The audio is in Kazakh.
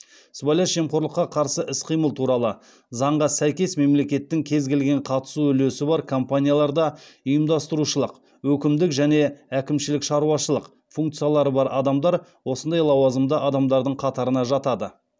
сыбайлас жемқорлыққа қарсы іс қимыл туралы заңға сәйкес мемлекеттің кез келген қатысу үлесі бар компанияларда ұйымдастырушылық өкімдік және әкімшілік шаруашылық функциялары бар адамдар осындай лауазымды адамдардың қатарына жатады